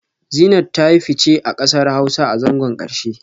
Zeenat ta yi fice a kasar Hausa a zangon karshe